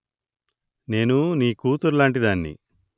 నేను నీ కూతురులాంటి దాన్ని